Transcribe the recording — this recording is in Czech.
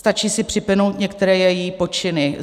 Stačí si připomenout některé její počiny.